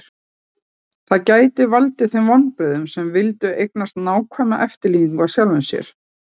það gæti valdið þeim vonbrigðum sem vildu eignast nákvæma eftirlíkingu af sjálfum sér